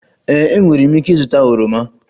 Ee, enwere m ike ịzụta oroma